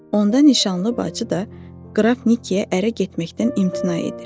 Onda nişanlı bacı da Qraf Nikiya ərə getməkdən imtina edir.